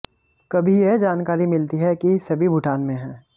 कभी यह जानकारी मिलती है कि सभी भूटान में हैं